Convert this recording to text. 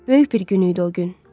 Böyük bir gün idi o gün.